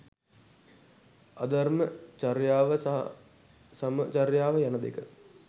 අධර්ම චර්යාව සහ සම චර්යාව යන දෙක